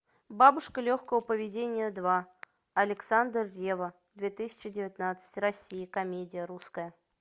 бабушка легкого поведения два александр ревва две тысячи девятнадцать россия комедия русская